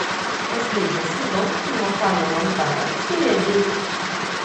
последний сезон кино ханна монтана серия десять